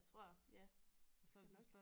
Tror ja det skal nok